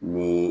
Ni